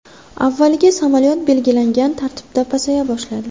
Avvaliga samolyot belgilangan tartibda pasaya boshladi.